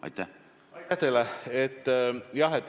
Aitäh teile!